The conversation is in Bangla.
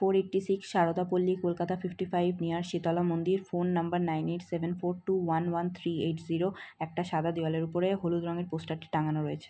Four eighty six Sarada Palli Kolkata fifty five near Shitala Mandir phone number nine eight seven four two one one three eight zero একটা সাদা দেওয়ালের উপরে হলুদ রঙের পোষ্টার টি টাঙ্গানো রয়েছে।